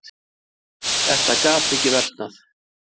Þetta gat ekki versnað.